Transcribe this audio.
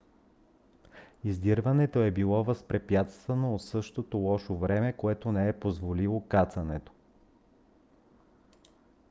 издирването е било възпрепятствано от същото лошо време което не е позволило кацането